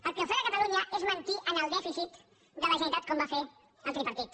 el que ofega catalunya és mentir en el dèficit de la generalitat com va fer el tripartit